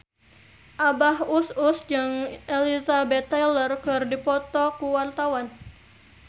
Abah Us Us jeung Elizabeth Taylor keur dipoto ku wartawan